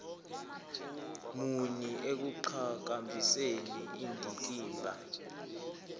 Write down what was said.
muni ekuqhakambiseni indikimba